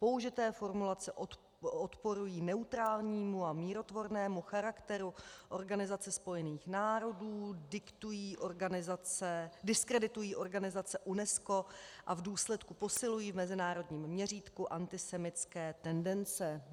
Použité formulace odporují neutrálnímu a mírotvornému charakteru Organizace spojených národů, diskreditují organizaci UNESCO a v důsledku posilují v mezinárodním měřítku antisemitské tendence.